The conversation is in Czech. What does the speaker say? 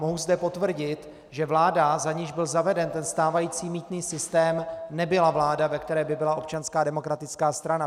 Mohu zde potvrdit, že vláda, za níž byl zaveden ten stávající mýtný systém, nebyla vláda, ve které by byla Občanská demokratická strana.